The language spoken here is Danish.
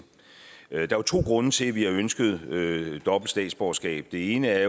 der er jo to grunde til at vi har ønsket reglen om dobbelt statsborgerskab den ene er